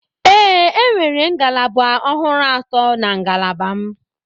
Ee, enwere ngalaba ọhụrụ atọ na ngalaba m.